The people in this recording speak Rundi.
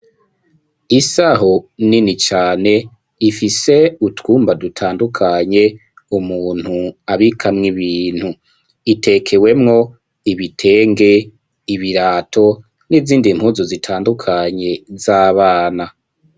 Isaho nini cane ifise utwumba dutandukanye umuntu abikamwo ibintu itekewemwo ibitenge ibirato n'izindi mpuzu zitandukanye z'abana.